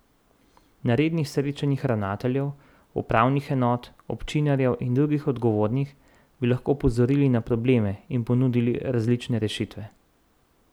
Na rednih srečanjih ravnateljev, upravnih enot, občinarjev in drugih odgovornih bi lahko opozorili na probleme in ponudili različne rešitve.